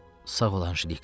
Sağ ol Anjelika.